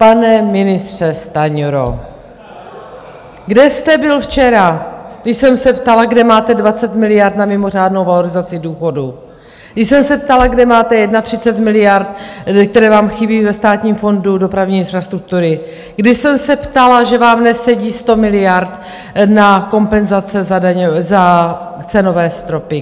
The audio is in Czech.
Pane ministře Stanjuro , kde jste byl včera, když jsem se ptala, kde máte 20 miliard na mimořádnou valorizaci důchodů, když jsem se ptala, kde máte 31 miliard, které vám chybí ve Státním fondu dopravní infrastruktury, když jsem se ptala, že vám nesedí 100 miliard na kompenzace za cenové stropy?